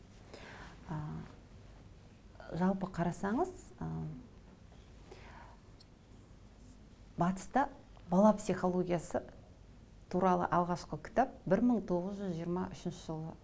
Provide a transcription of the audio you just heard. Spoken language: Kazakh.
ы жалпы қарасаныз ы батыста бала психологиясы туралы алғашқы кітап бір мың тоғыз жүз жиырма үшінші жылы